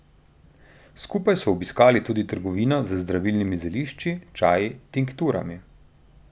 Skupaj so obiskali tudi trgovino z zdravilnimi zelišči, čaji, tinkturami...